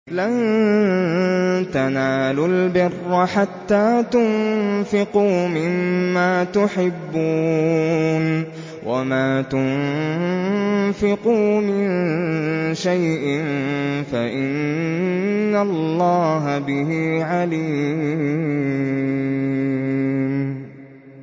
لَن تَنَالُوا الْبِرَّ حَتَّىٰ تُنفِقُوا مِمَّا تُحِبُّونَ ۚ وَمَا تُنفِقُوا مِن شَيْءٍ فَإِنَّ اللَّهَ بِهِ عَلِيمٌ